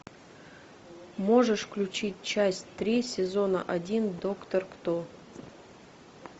можешь включить часть три сезона один доктор кто